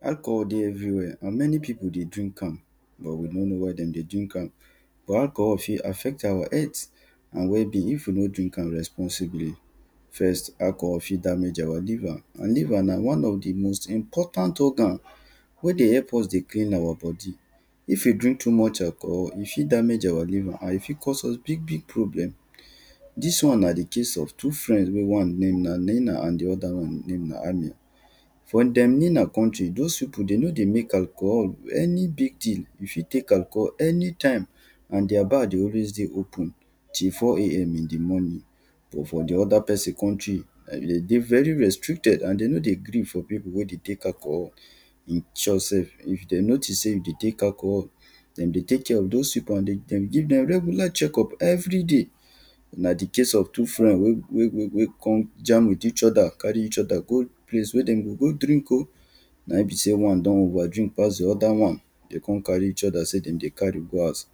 Alcohol dey everywhere and many people dey drink am but we no know why dem dey drink am. But alcohol fit affect our health and wellbeing if we no drink am responsibly, first; alcohol fit damage our liver and liver na one of di most important organ wey dey help us dey gain our body, if we drink too much alcohol e fit damage our liver and e fit cause us big big problem. Dis one na di case of two friend wen one name na Nena and di oda one name na Ani for dem Nena country doz people dem nor dey make alcohol, any big deal, if you make alcohol any time and their bar dey always dey dey open till four a.m in di morning, but for di oda person, dem dey dey very restricted and dem nor dey gree for people wey dey take alcohol, in short sef if dem notice sey you dey take alcohol, dem dey take care of doz people and dem dey give dem regular check up every day. Na di case of two friends wey wey wey come jam with each oda carry each oda go di place wey dem go go drink oh, na im be sey one don over drink pass di oda one, dem come carry each oda sey dem dey carry go house,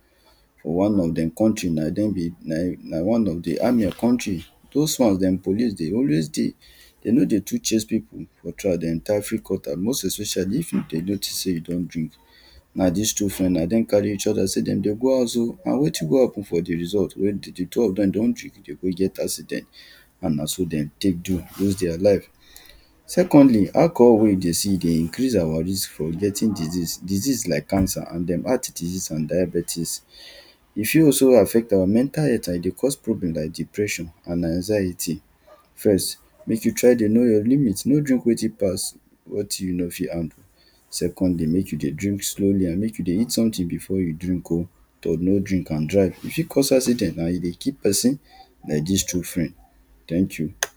one of dem country di name na im be na one of di Ami country, doz ones dem police dey always dey, dem no dey too chase people [2] most especially if dem notice sey you don drink. na dis two friends na dem carry dem each sey dem dey go house oh, na wetin come happen for di result wen di two of dem don drink, dem go get accident and na so dem take do lose their life. Secondly, alcohol wey you dey see, e dey increase our risk for getting disease, disease like cancer, and dem heart disease and diabetes, e fit also affect our mental health and e dey cause problem like depression and anxiety. First make you try dey know your limit, make you no drink wetin pass wetin you o fit handle, secondly make you dey drink slowly and make you dey eat something before you drink oh, so no drink and drive, e fit cause accident and e dey kill person like dis two friend, thank you.